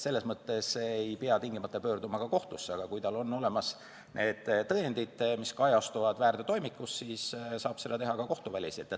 Selles mõttes ei pea tingimata pöörduma ka kohtusse, aga kui tal on olemas need tõendid, mis kajastuvad väärteotoimikus, siis saab seda teha ka kohtuväliselt.